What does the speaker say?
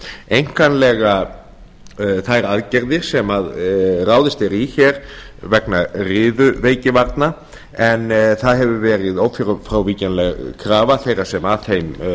einkanlega þær aðgerðir sem ráðist er í vegna riðuveikivarna en það hefur verið ófrávíkjanleg krafa þeirra yfirvalda sem að þeim